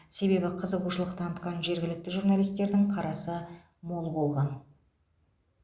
себебі қызығушылық танытқан жергілікті журналистердің қарасы мол болған